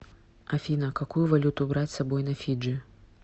афина какую валюту брать с собой на фиджи